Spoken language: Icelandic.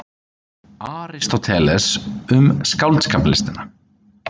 Aristóteles, Um skáldskaparlistina.